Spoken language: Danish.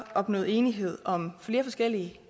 opnået enighed om flere forskellige